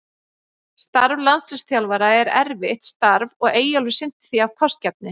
Starf landsliðsþjálfara er erfitt starf og Eyjólfur sinnti því af kostgæfni.